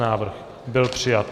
Návrh byl přijat.